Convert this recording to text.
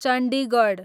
Chandigarh